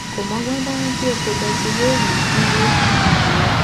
kò mọgbọn dání kí epo bẹntiróòlù dínwó ní nàìjíríà